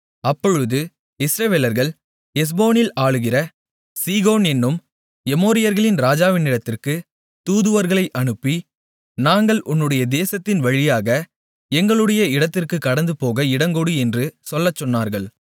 அப்பொழுது இஸ்ரவேலர்கள் எஸ்போனில் ஆளுகிற சீகோன் என்னும் எமோரியர்களின் ராஜாவினிடத்திற்கு தூதுவர்களை அனுப்பி நாங்கள் உன்னுடைய தேசத்தின் வழியாக எங்களுடைய இடத்திற்கு கடந்துபோக இடங்கொடு என்று சொல்லச்சொன்னார்கள்